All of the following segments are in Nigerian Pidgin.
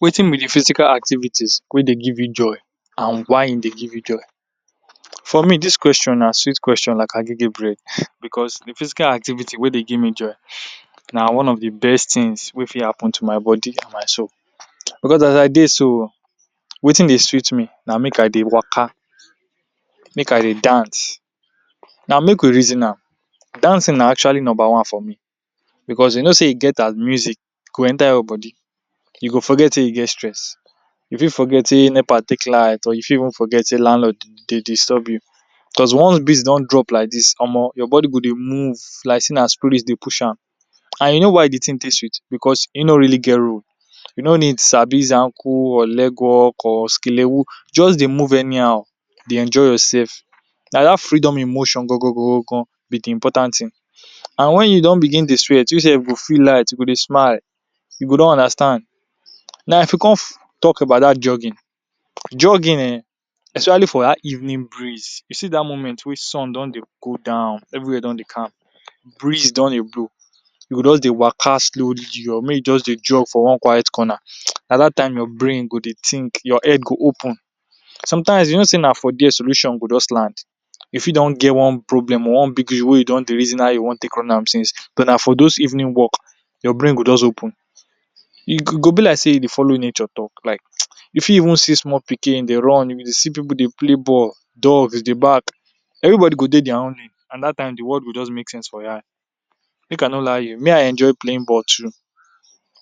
Wetin be de physical activities wey dey give you joy and why im dey give you joy. For me dis question na sweet question like agege bread because de physical activity dey dey give me joy na one of best things wey fit happen to my body and my soul. Because as I dey so wetin dey sweet me na make I dey waka, make I dey dance. Now make we reason am; dancing na actually number one for me because you know sey e get as music go enter your body you go forget sey you dey stress. You fit forget sey NEPA take light or even forget sey landlord dey disturb you because once beat don drop like dis, omo, your body go dey move like sey na spirit dey push am. And you know why de thing take sweet because e no really get role, you no need sabi zanku or legwork or skelewu. Just dey move anyhow dey enjoy yourself. Na dat freedom in motion gogo be de important thing. And wen you don begin dey sweat you sef go feel light you go dey smile you go don understand. Now if you come talk about dat jogging, jogging um especially for dat evening breeze, you see dat moment wey sun don dey go down everywhere don dey calm, breeze don dey blow you go just dey waka slowly make you just dey jog for one quiet corner. Na dat time your brain go dey think, your head go open. Sometimes you know sey na for there solution go just land. You fit don get one problem or one big deal wey you don dey reason how you wan take run am since but na for those evening walk your brain go just open. E go go be like dey you dey follow nature like you fit see small pikin dey run or maybe you dey see pipu dey play ball, dog dey dey bark everybody go dey their own end and dat time de world go just make sense for your eye. Make I no lie you, me I enjoy playing ball too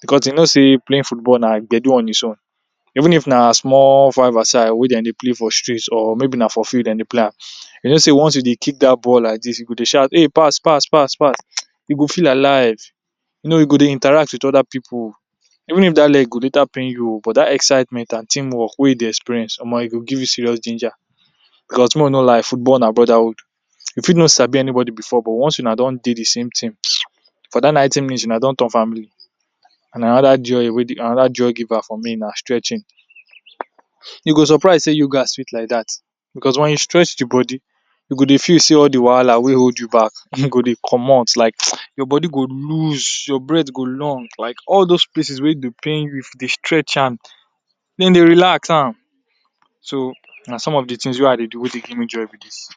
because dey know sey playing football na gbedu on its own. Even if na small vice versa wey dem dey play for street or maybe na for field dem dey play am you know sey once you dey kick dat ball like dis you go dey shout, "pass pass pass pass". You go feel alive, you know you go dey Interact wit other pipu. Even if dat leg go later pain you oo but dat excitement and team work wey you dey experience, omo, e go give you serious ginger. But make we no lie football na brotherhood, e fit no sabi anybody before but once una don dey de same team (hisse) for dat ninety minutes una don turn family and na another joy wey dey. Another joy giver for me na stretching. You go surprise sey yoga sweet like dat because wen you stretch de body you go dey feel sey all de wahala wey hold de back go dey comot like your body go loose, your breathe go long like all those places wey dey pain you if dey stretch am den dey relax am. So na some of de things wey I dey do wey fit give me joy be dis.